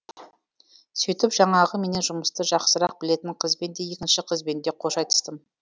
сөйтіп жаңағы менен жұмысты жақсырақ білетін қызбен де екінші қызбенде қош айтыстым